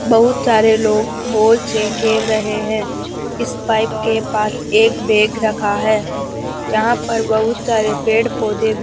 बहुत सारे लोग बॉल से खेल रहे हैं इस पाइप के पास एक बैग रखा है जहां पर बहुत सारे पेड़ पौधे भी --